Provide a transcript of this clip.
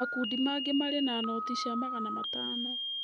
Makundi mangĩ marĩ na noti cia magana matano.